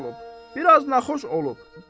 Biraz naxoş olub.